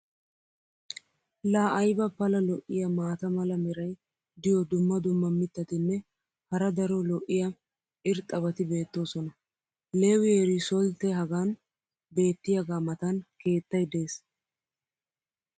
laa ayba pala lo'iya maata mala meray diyo dumma dumma mitatinne hara daro lo'iya irxxabati beetoosona. Leewi riisoltee hagan beetiyaagaa matan keettay des.